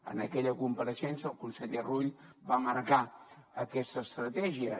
en aquella compareixença el conseller rull va marcar aquesta estratègia